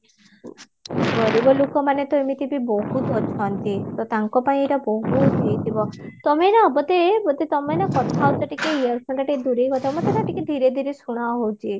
ଗରିବ ଲୋକମାନ ତ ଏମିତିବି ବହୁତ ଥାନ୍ତି ତ ତାଙ୍କ ପାଇଁ ଏଇଟା ବହୁତ ହେଇଥିବା ତମେ ନାଁ ବୋଧେ ବୋଧେ ତମେ ନାଁ କଥା ହଉଚ ଟିକେ earphone ଟା ଟିକେ ଦୂରେଇ କଥା ହୁଅ ମତେ ନାଁ ଟିକେ ଧୀରେ ଧିରେ ଶୁଣା ଯାଉଚି